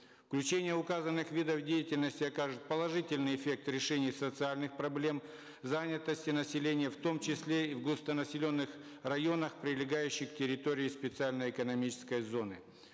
включение указанных видов деятельности окажет положительный эффект решения социальных проблем занятости населения в том числе в густонаселенных районах прилегающих территорий специальной экономической зоны